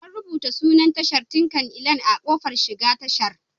An rubuta sunan tashar Tinkan Island a kofar shiga tashar.